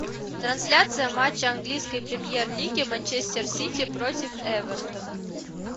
трансляция матча английской премьер лиги манчестер сити против эверта